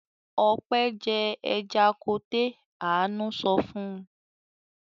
"Ope jẹ ẹja koté!!" Àánú sọ fún un.